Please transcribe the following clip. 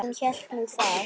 Hún hélt nú það.